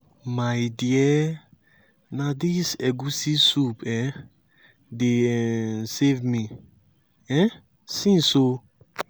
my dear na dis egwusi soup um dey um save me um since oo.